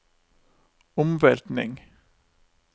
omveltning